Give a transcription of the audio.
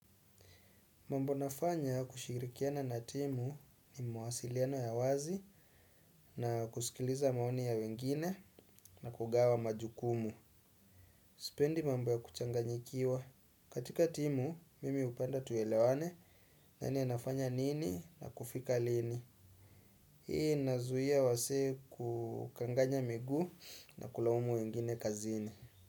Mambo nafanya kushirikiana na timu ni mawasiliano ya wazi na kusikiliza maoni ya wengine na kugawa majukumu. Sipendi mambo ya kuchanganyikiwa. Katika timu, mimi hupenda tuelewane nani anafanya nini na kufika lini. Hii inazuia wasee kukanganya miguu na kulaumu wengine kazini.